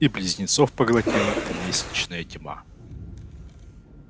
и близнецов поглотила лестничная тьма